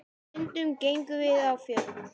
Stundum gengum við á fjöll.